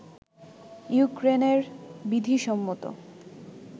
ইউক্রেইনের বিধিসম্মত